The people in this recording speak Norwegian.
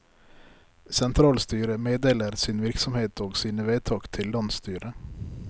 Sentralstyret meddeler sin virksomhet og sine vedtak til landsstyret.